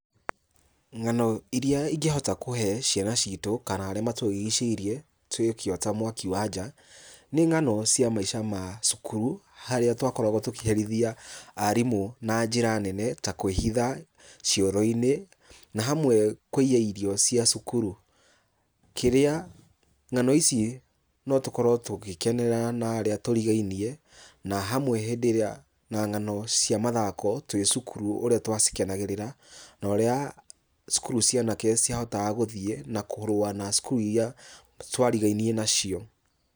Ng'ano iria ingĩhota kũhe ciana citũ kana arĩa matũrigicĩirie twĩkĩota mwaki wa nja, nĩ ng'ano cia maica cukuru. Harĩa twakoragwo tũkĩherithia arimũ na njĩra nene, ta kwĩhitha cioro-inĩ, na hamwe kũiya irio cia cukuru. Kĩrĩa ng'ano ici no tũkorwo tũgĩkenera na arĩa tũrigainie na hamwe hĩndĩ ĩrĩa na ng'ano cia mathako twĩ cukuru ũrĩa twacikenagĩrĩra na ũrĩa cukuru cia anake ciahotaga gũthiĩ na kũrũa na cukuru iria twarigainie nacio.